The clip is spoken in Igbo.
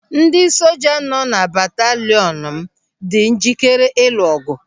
Ndị soja nọ na batalịọn m dị njikere ilu ọgụ.